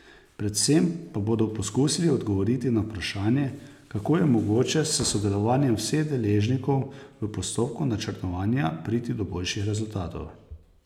Predvsem pa bodo poskusili odgovoriti na vprašanje, kako je mogoče s sodelovanjem vseh deležnikov v postopku načrtovanja priti do boljših rezultatov.